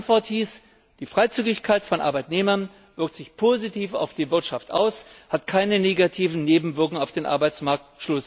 Die Antwort hieß Die Freizügigkeit von Arbeitnehmern wirkt sich positiv auf die Wirtschaft aus, hat keine negativen Nebenwirkungen auf dem Arbeitsmarkt.